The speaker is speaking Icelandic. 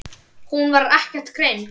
Hún var ekkert greind.